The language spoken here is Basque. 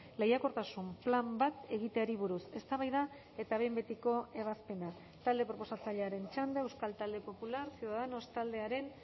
lehiakortasun plan bat egiteari buruz eztabaida eta behin betiko ebazpena talde proposatzailearen txanda euskal talde popular ciudadanos taldearen